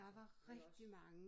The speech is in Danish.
Altså det vel også